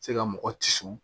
Se ka mɔgɔ kisi